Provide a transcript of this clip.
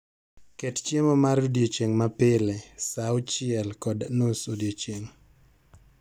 Ket chiemo mar odiechieng' ma pile saa auchiel kod nus odiechieng'